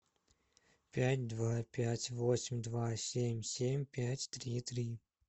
пять два пять восемь два семь семь пять три три